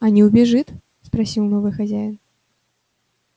а не убежит спросил новый хозяин